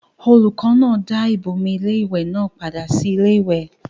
olùkọ́ náà dá ìbomi iléwẹ̀ náà padà sí iléwẹ̀